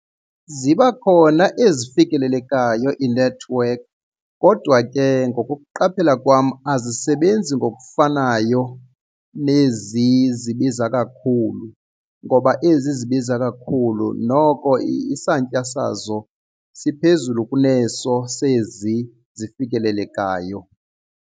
Ziba khona ezifikelelekayo iinethiwekhi kodwa ke ngokokuqaphela kwam azisebenzi ngokufanayo nezi zibiza kakhulu ngoba ezi zibiza kakhulu noko isantya sazo siphezulu kuneso sezi zifikelelekayo.